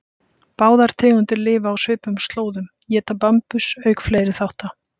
Báðar tegundir lifa á svipuðum slóðum, éta bambus auk fleiri þátta.